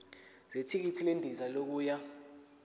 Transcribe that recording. zethikithi lendiza yokuya